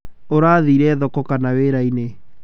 Ũrathie thoko kama wĩra-ini?